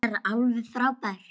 Hún er alveg frábær.